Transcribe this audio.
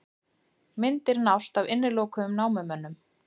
Myndir nást af innilokuðum námumönnum